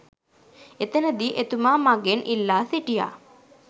එතනදී එතුමා මගෙන් ඉල්ලා සිටියා